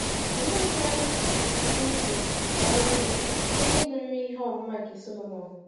Olee otú anyị nwere ike isi bara uru site n’ịgụrịrị ihe ọmụma nke Sọlọmọn?